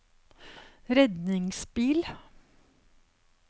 redningsbil